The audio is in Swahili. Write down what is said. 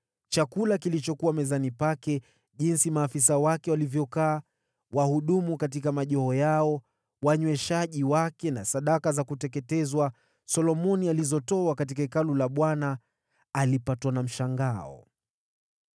chakula kilichokuwa mezani pake, jinsi maafisa wake walivyokaa, wahudumu katika majoho yao, wanyweshaji wake na sadaka za kuteketezwa alizotoa katika Hekalu la Bwana alipatwa na mshangao.